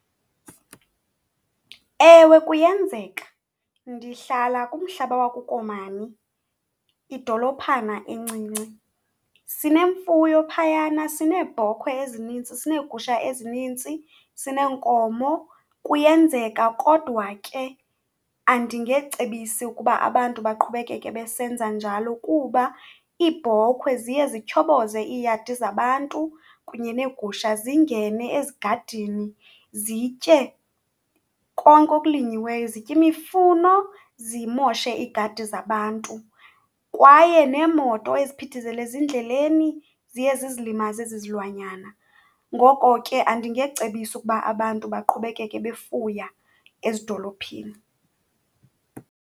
Ewe, kuyenzeka. Ndihlala kumhlaba wakuKomani, idolophana encinci. Sinemfuyo phayana, sineebhokhwe ezinintsi, sineegusha ezinintsi, sineenkomo. Kuyenzeka kodwa ke andingecebisi ukuba abantu baqhubekeke besenza njalo, kuba iibhokhwe ziye zityhoboze iiyadi zabantu kunye neegusha zingene ezigadini zitye konke okulinyiweyo, zitye imifuno, zimoshe iigadi zabantu. Kwaye neemoto eziphithizela ezindleleni ziye zizilimaze ezi zilwanyana. Ngoko ke andingecebisi ukuba abantu baqhubekeke befuya ezidolophini.